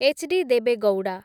HD. Deve Gowda